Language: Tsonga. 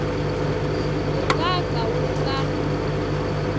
wu nga ka wu nga